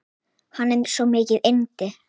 Hann er svo mikið yndi.